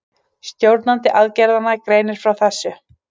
Stjórnandi aðgerðanna greindi frá þessu